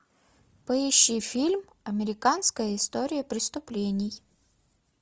поищи фильм американская история преступлений